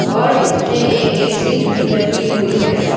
और इसमें एक ए_सी भी लगी हुई है।